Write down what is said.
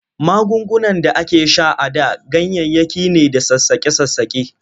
Magungunan da ake sha a da ganyayyaki ne da sassaƙe-sassaƙe.